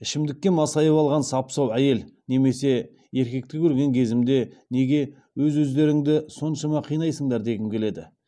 ішімдікке масайып алған сап сау әйел немесе еркекті көрген кезімде неге өз өздеріңді соншама қинайсыңдар дегім келеді